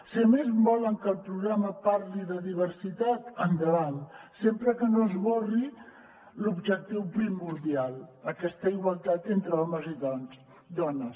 si a més volen que el programa parli de diversitat endavant sempre que no esborri l’objectiu primordial aquesta igualtat entre homes i dones